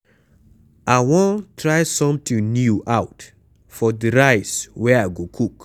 I wan try something new out for the rice wey I go cook.